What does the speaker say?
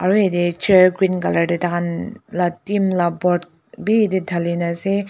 aro yathe chair green colour dae takhan la bhi dhalena ase.